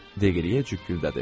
Deqliyə cükküldədi.